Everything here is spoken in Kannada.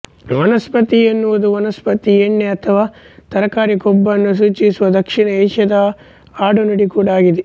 ವನಸ್ಪತಿ ಎನ್ನುವುದು ವನಸ್ಪತಿ ಎಣ್ಣೆ ಅಥವಾ ತರಕಾರಿ ಕೊಬ್ಬನ್ನು ಸೂಚಿಸುವ ದಕ್ಷಿಣ ಏಷ್ಯಾದ ಆಡುನುಡಿ ಕೂಡ ಆಗಿದೆ